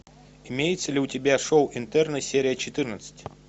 имеется ли у тебя шоу интерны серия четырнадцать